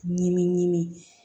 Ɲimi ɲimi